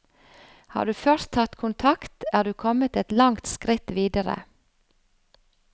Har du først tatt kontakt, er du kommet et langt skritt videre.